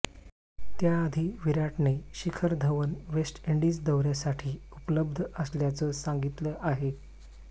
त्याआधी विराटने Shikhar Dhawan West Indies दौऱ्यासाठी उपलब्ध असल्याचं सांगितलं आहे